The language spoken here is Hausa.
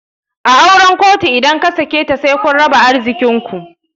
A auren kotu idan kasaketa said kun raba arzikinku.